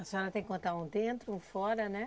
A senhora tem que contar um dentro, um fora, né?